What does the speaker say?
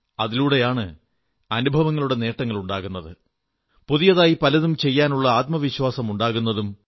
അതിലൂടെയാണ് അനുഭവങ്ങളുടെ നേട്ടങ്ങളുണ്ടാകുന്നത് പുതിയതായി പലതും ചെയ്യാനുള്ള ആത്മവിശ്വാസം ഉണ്ടാകുന്നതും